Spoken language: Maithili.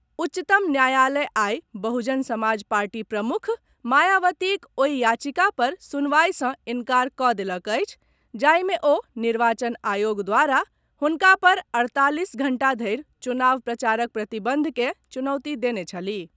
उच्चतम न्यायालय आइ बहुजन समाज पार्टी प्रमुख मायावतीक ओहि याचिका पर सुनवाई से इन्कार कऽ देलक अछि जाहि मे ओ निर्वाचन आयोग द्वारा हुनका पर अड़तालीस घंटा धरि चुनाव प्रचारक प्रतिबंध के चुनौती देने छलीह।